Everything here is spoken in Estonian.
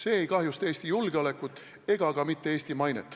See ei kahjusta Eesti julgeolekut ega ka mitte Eesti mainet.